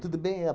Tudo bem?